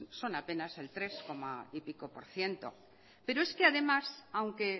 son apenas el tres coma y pico por ciento pero es que además aunque